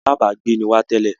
Alábágbé ni wá tẹ́lẹ̀